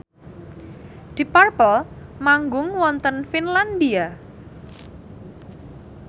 deep purple manggung wonten Finlandia